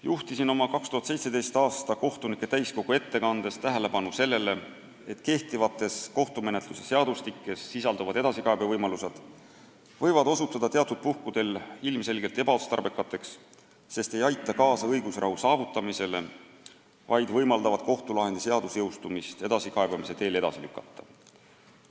Juhtisin oma ettekandes 2017. aasta kohtunike täiskogul tähelepanu sellele, et kehtivates kohtumenetluse seadustikes sisalduvad edasikaebevõimalused võivad osutuda teatud puhkudel ilmselgelt ebaotstarbekaks, sest ei aita kaasa õigusrahu saavutamisele, vaid võimaldavad kohtulahendi seadusjõustumist edasikaebamise teel edasi lükata.